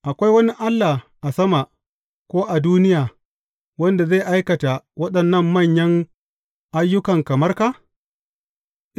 Akwai wani allah a sama ko a duniya, wanda zai aikata waɗannan manyan ayyukan kamar ka?